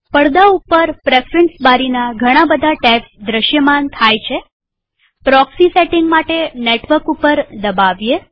પડદા ઉપર પ્રેફરન્સ બારીના ઘણા બધા ટેબ્સ દ્રશ્યમાન થાય છેપ્રોક્સી સેટિંગ માટે નેટવર્ક ઉપર દબાવીએ